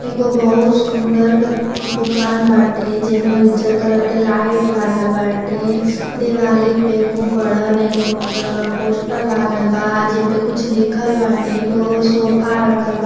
एगो बहुत सुंदर दुकान बाटे जेमें उज्जर कलर के लाइट लागल बाटे दिवाली पे खुब बढ़न एगो पोस्टर लागल बा जे पे कुछ लिखल बाटे। एगो सोफा रखल बा --